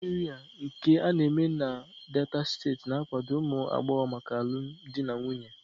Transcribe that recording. Ememe Ịrịa nke a na-eme na Niger Delta na-akwado ụmụ agbọghọ maka alụmdi na nwunye